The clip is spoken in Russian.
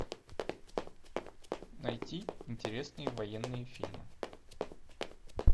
найти интересные военные фильмы